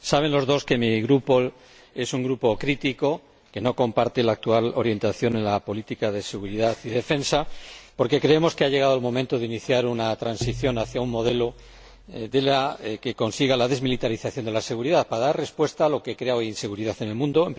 Saben los dos que mi Grupo es un grupo crítico, que no comparte la actual orientación en la política de seguridad y defensa, porque creemos que ha llegado el momento de iniciar una transición hacia un modelo que consiga la desmilitarización de la seguridad, para dar respuesta a lo que crea hoy inseguridad en el mundo.